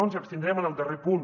ens abstindrem en el darrer punt